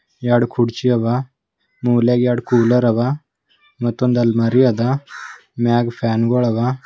ಎರಡು ಕುರ್ಚಿ ಅವ ಮೂಲ್ಯಾಗೆ ಎರಡು ಕೂಲರ್ ಅವ ಮತ್ತೊಂದು ಅಲ್ಮಾರಿ ಅದ ಮ್ಯಾಗ್ ಫ್ಯಾನ್ ಗಳು ಅದ.